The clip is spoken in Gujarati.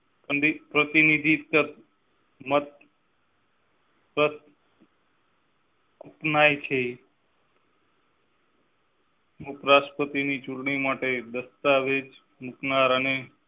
પ્રતિનિધિ ઉપરાષ્ટ્રપતિ ચૂંટણી માટે દસ્તાવેજ એકનાર ને